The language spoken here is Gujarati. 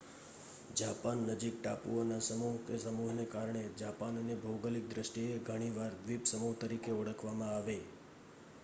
જાપાન નજીક ટાપુઓના સમૂહ/સમૂહને કારણે જાપાનને ભૌગોલિક દૃષ્ટિએ ઘણી વાર 'દ્વીપસમૂહ' તરીકે ઓળખવામાં આવે